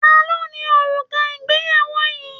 Ta ló ni òrùka ìgbéyàwó yìí?